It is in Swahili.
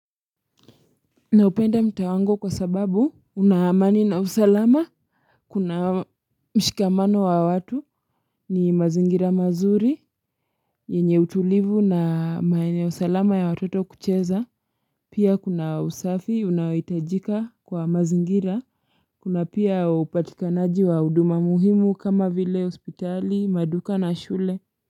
Naupenda mtaa wangu kwa sababu una amani na usalama kuna mshikamano wa watu na mazingira mazuri yenye utulivu na maeneo salama ya watoto kucheza pia kuna usafi unaohitajika kwa mazingira kuna pia upatikanaji wa huduma muhimu kama vile hospitali maduka na shule.